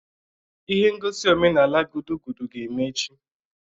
Ihe ngosi omenala gudugudu ga-eme echi.